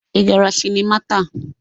Ị gara sịnịma taa?